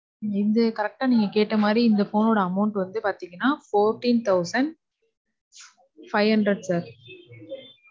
இந்த correct ஆ நீங்க கேட்ட மாரி இந்த phone ஒட amount வந்து பாத்தீங்கனா, fourteen thousand five hundred sir.